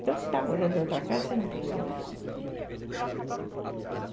Então, se está morando em outra casa, você não pensa mais.